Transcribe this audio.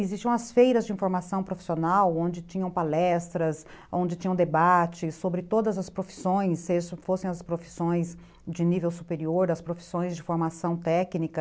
Existiam as feiras de informação profissional, onde tinham palestras, onde tinham debates sobre todas as profissões, se fossem as profissões de nível superior, as profissões de formação técnica.